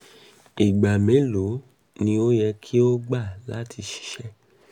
igba melo ni o yẹ ki o gba lati ṣiṣẹ??